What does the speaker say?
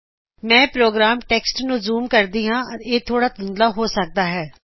ਮੈਂ programme text ਨੂੰ zoom ਕਰਦੀ ਹਾਂ ਇਹ ਥੋੜਾ ਧੁੰਧਲਾ ਹੋ ਸਕਦਾ ਹਾਂ